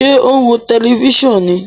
Ṣe o n wo tẹlifisiọnu ní?